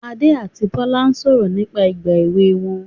Adé àti Bọ́lá sọ̀rọ̀ nípa ìgbà èwe wọn